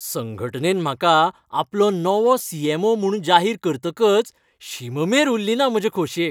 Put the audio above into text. संघटनेन म्हाका आपलो नवो सी. ऍम. ओ. म्हूण जाहीर करतकच शीम मेर उरलीना म्हजे खोशयेक.